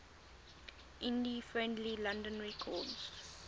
indie friendly london records